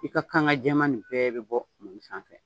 I ka kanga jɛman nin bɛɛ bɛ bɔ mɔni sanfɛ